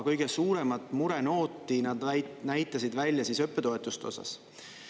Kõige suuremat murenooti nad näitasid välja õppetoetuste osas.